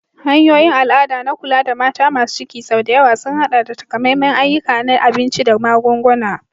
Hanyoyin al'ada na kula da mata masu ciki sau da yawa sun haɗa da takamaiman ayyuka na abinci da magunguna.